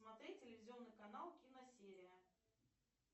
смотреть телевизионный канал киносерия